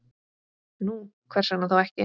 Nú, hvers vegna þá ekki?